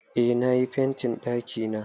Eh na yi fentin ɗakina.